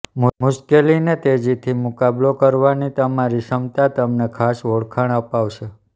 મુશ્કેલી ને તેજી થી મુકાબલો કરવા ની તમારી ક્ષમતા તમને ખાસ ઓળખાણ અપાવશે